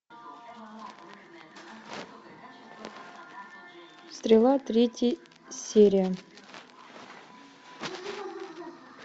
стрела третья серия